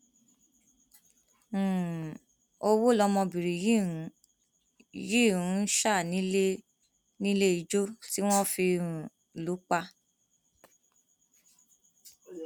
um owó lọmọbìnrin yìí ń yìí ń sá nílé níléijó tí wọn fi um lù ú pa